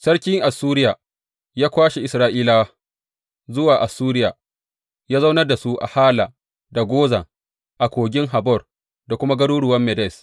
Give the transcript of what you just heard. Sarkin Assuriya ya kwashe Isra’ila zuwa Assuriya ya zaunar da su a Hala, da Gozan a kogin Habor da kuma garuruwan Medes.